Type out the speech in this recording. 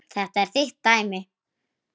Þetta er þitt dæmi.